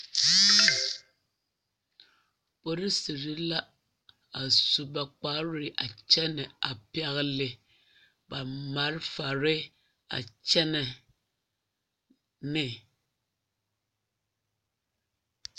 polisiri la a su ba kparre a kyɛnɛ a pɛgle marefare a kyɛnɛ ne.